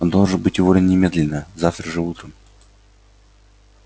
он должен быть уволен немедленно завтра же утром